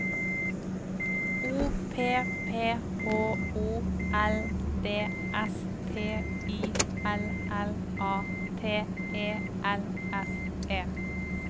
O P P H O L D S T I L L A T E L S E